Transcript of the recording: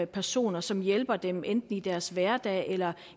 personer som hjælper dem enten i deres hverdag eller